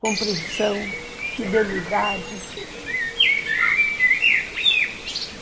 Compreensão, fidelidade.